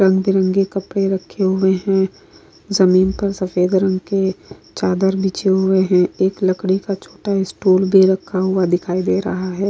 रंग बिरंगे कपड़े रखे हुए है जमीन पर सफ़ेद रंग के चादर बिछे हुए है एक लकड़ी का छोटा स्टूल भी रखा हुआ दिखाई दे रहा है।